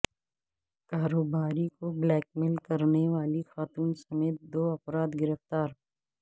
کاروباری کو blackmail کرنے والی خاتون سمیت دوافراد گرفتار